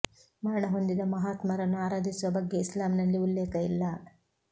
ಮರಣ ಹೊಂದಿದ ಮಹಾ ತ್ಮರನ್ನು ಆರಾಧಿಸುವ ಬಗ್ಗೆ ಇಸ್ಲಾಂನಲ್ಲಿ ಉಲ್ಲೇಖ ಇಲ್ಲ